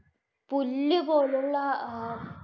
പുല്ല് പോലുള്ള അഹ്